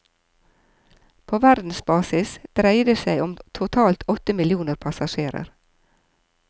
På verdensbasis dreier det seg om totalt åtte millioner passasjerer.